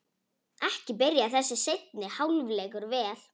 Ekki byrjar þessi seinni hálfleikur vel!